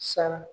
Sara